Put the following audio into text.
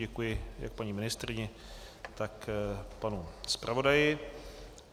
Děkuji jak paní ministryni, tak panu zpravodaji.